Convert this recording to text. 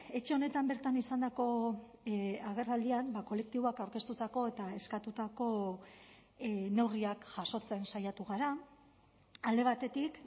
etxe honetan bertan izandako agerraldian kolektiboak aurkeztutako eta eskatutako neurriak jasotzen saiatu gara alde batetik